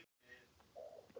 Já, svartidauði er enn þá til.